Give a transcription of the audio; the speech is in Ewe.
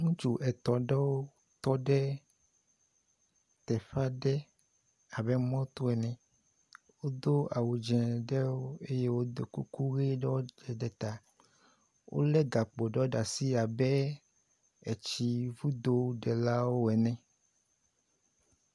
Ŋutsu etɔ̃ ɖewo tɔ ɖe teƒe aɖe abe mɔto ene. Wodo awu dzɛ̃ ɖewo eye wodo kuku ʋiwo ɖe ta. Wolé gakpo ɖewo ɖe asi abe etsiŋudoɖelawo ene.